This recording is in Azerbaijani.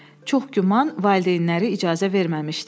Çox güman valideynləri icazə verməmişdi.